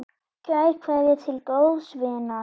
Kær kveðja til góðs vinar.